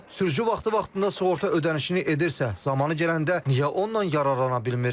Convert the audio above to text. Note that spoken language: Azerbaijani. Sürücü vaxtı-vaxtında sığorta ödənişini edirsə, zamanı gələndə niyə ondan yararlana bilmir?